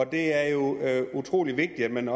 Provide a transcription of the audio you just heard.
det er jo utrolig vigtigt at man